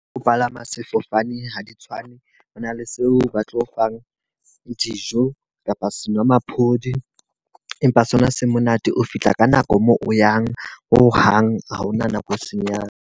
O palama sefofane ha di tshwane. Ho na le seo ba tlo o fang dijo kapa senwamaphodi. Empa sona se monate o fihla ka nako moo o yang. Ho hang ha hona nako e senyang.